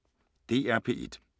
DR P1